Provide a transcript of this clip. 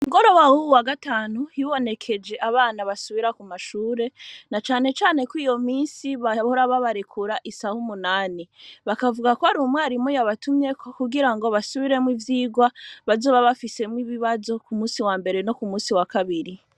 Mugoroba wa gatanu hibonekeje abana basubira ku mashure na cane cane ko iyo minsi bahora babarekura isaha umunani bakavuga ko arumwarimu yabatumyeko kugira ngo basubiremo ivyirwa bazoba bafisemo ibibazo ku musi wa mbere no ku musi wa kabiri.